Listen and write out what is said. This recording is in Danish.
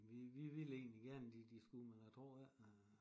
Vi vi ville egentlig gerne de de skulle men jeg tror ikke